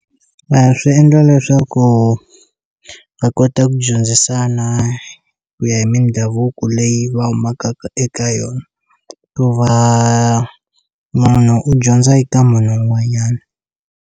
A swi endla leswaku va kota ku dyondzisana ku ya hi mindhavuko leyi va humaka eka yona ku va munhu u dyondza eka munhu un'wanyana.